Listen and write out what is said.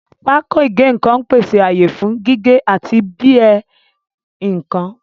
Pákó ìgé nǹkan ń pèsè ààyè fún gígé àti bí ẹ́ nǹkan